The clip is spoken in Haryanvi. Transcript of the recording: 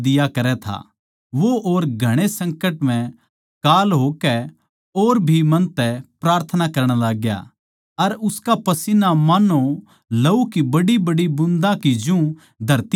वो और घणे संकट म्ह काल होकै और भी मन तै प्रार्थना करण लाग्या अर उसका पसीन्ना मान्नो लहू की बड्डीबड्डी बूँदां के जू धरती पै गीरै था